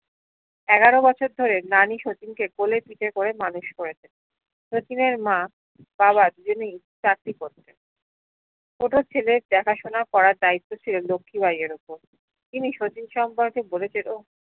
এগারো বছর ধরে নানী শচীনকে কোলে পীঠে করে মানুষ করেছে শচীনের মা বাবা যীমি চাকরি করতেন ছোট ছেলে দেখাশোনা করার দায়িত্ব ছিলো লক্ষি বাই এর উপর তিনি শচীন সম্পর্কে বলেছিলো